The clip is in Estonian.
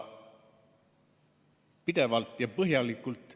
Pidevalt ja põhjalikult.